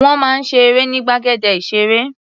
Wọ́n máa ń ṣe eré ní gbàgede ìṣeré.